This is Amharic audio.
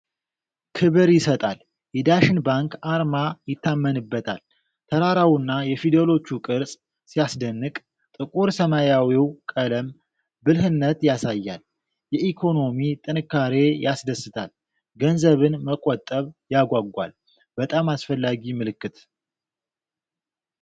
ክብር ይሰጣል! የዳሸን ባንክ አርማ ይታመንበታል። ተራራውና የፊደሎቹ ቅርፅ ሲያስደንቅ! ጥቁር ሰማያዊው ቀለም ብልህነት ያሳያል። የኢኮኖሚ ጥንካሬ ያስደስታል። ገንዘብን መቆጠብ ያጓጓል። በጣም አስፈላጊ ምልክት።